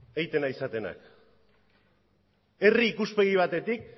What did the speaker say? egiten ari zaretena herri ikuspegi batetik